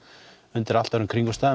undir allt öðrum kringumstæðum